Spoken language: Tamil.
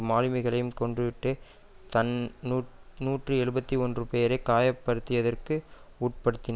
மாலுமிகளை கொன்றுவிட்டு தன் நூற்றி எழுபத்து ஒன்று பேரை காயப்டுத்தியதற்கு உட்படுத்தின